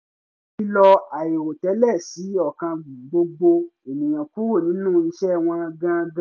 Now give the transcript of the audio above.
ìfilọ̀ aìrò tẹ́lẹ̀ ṣí ọkàn gbogbo ènìyàn kúrò nínú iṣẹ́ wọn gangan